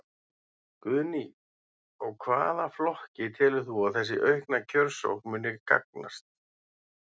Guðný: Og hvaða flokki telur þú að þessi aukna kjörsókn muni gagnast?